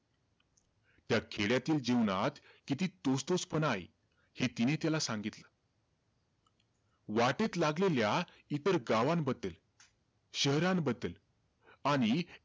त्या खेड्यातील जीवनात किती तोच-तोचपणा आहे, हे तिने त्याला सांगितलं. वाटेत लागलेल्या इतर गावांबद्दल, शहरांबद्दल आणि,